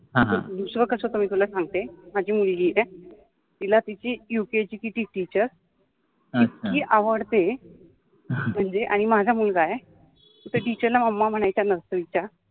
ह ह, दुसर कसतरि तुला सांगते माझि मुलगि आहे तिला तिचि यु के इ चि ति टिचर इतकि आवडते मनजे माझा मुलगा आहे त्या टिचर ला मम्मा म्हनायच्या असेल त्या